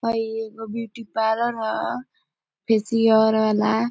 हई एगो beauty parlour ह फेशियल वाला।